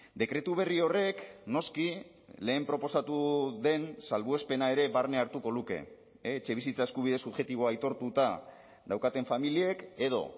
dekretu berri horrek noski lehen proposatu den salbuespena ere barne hartuko luke etxebizitza eskubide subjektiboa aitortuta daukaten familiek edo